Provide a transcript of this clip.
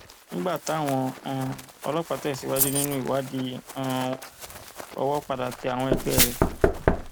nígbà táwọn um ọlọpàá tẹsíwájú nínú ìwádìí um wọn owó padà tẹ àwọn ẹgbẹ rẹ